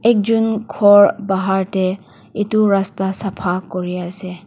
ekjen ghor bahar te etu rasta sapha kuri ase.